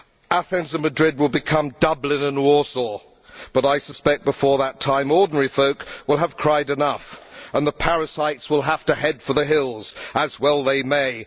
Athens and Madrid would become Dublin and Warsaw, but I suspect that before that time, ordinary folk will have cried enough and the parasites will have to head for the hills, as well they may.